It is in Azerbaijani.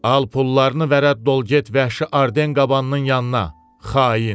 Al pullarını və rədd ol get vəhşi Arden qabanının yanına, xain.